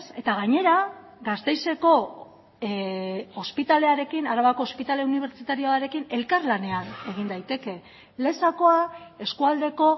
eta gainera gasteizeko ospitalearekin arabako ospitale unibertsitarioarekin elkarlanean egin daiteke lezakoa eskualdeko